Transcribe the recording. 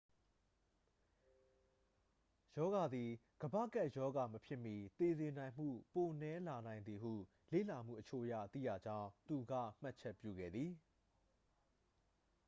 ရောဂါသည် ကမ္ဘာ့ကပ်ရောဂါ မဖြစ်မီ သေစေနိုင်မှု ပိုနည်းလာနိုင်သည်ဟု လေ့လာမှုအချို့အရ သိရကြောင်း သူက မှတ်ချက်ပြုခဲ့သည်